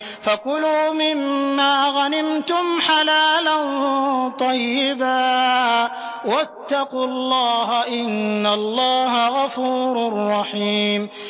فَكُلُوا مِمَّا غَنِمْتُمْ حَلَالًا طَيِّبًا ۚ وَاتَّقُوا اللَّهَ ۚ إِنَّ اللَّهَ غَفُورٌ رَّحِيمٌ